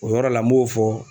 O yɔrɔ la n b'o fɔ